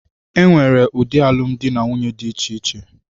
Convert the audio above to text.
E nwere ụdị alụmdi na nwunye dị iche iche